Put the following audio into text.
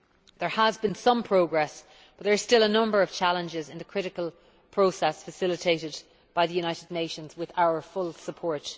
There has been some progress, but there are still a number of challenges in the critical process facilitated by the United Nations with our full support.